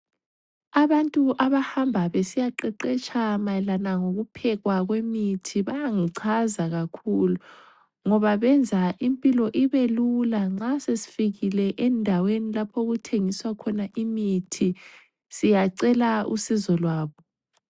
Abantu abahamba besiyaqeqetsha mayelana ngokuphekwa kwemithi bangichaza kakhulu ngoba benza impilo ibelula nxa sesifikile endaweni lapho okuthengiswa khona imithi siyacela usizo lwabo.